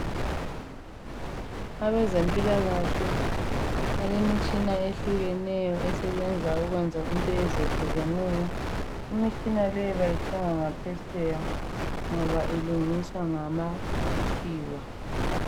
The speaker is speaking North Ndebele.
Abezempilakahle balemitshina eyehlukeneyo esebenza ukwenza izinto ezehlukeneyo. Imitshina leyi bayithenga ngaphetsheya ngoba ilungiswa ngamaKhiwa.